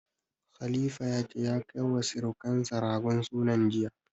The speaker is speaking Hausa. Khalifa ya ce ya kai wa sirukansa ragon sunan jiya.